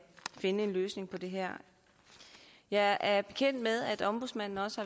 finde en løsning på det her jeg er også bekendt med at ombudsmanden har